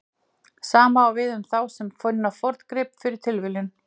Sama á við um þá sem finna forngrip fyrir tilviljun.